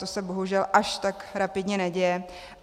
To se bohužel až tak rapidně neděje.